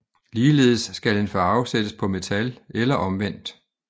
Ligeledes skal en farve sættes på metal eller omvendt